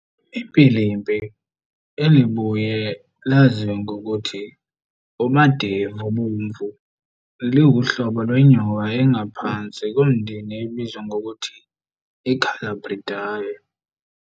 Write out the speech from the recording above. IMpilimpili, elibuye laziwe ngokuth' uMadevobovu liwuhlobo lwenyoka engaphansi komndeni obizwa ngokuthi iColubridae.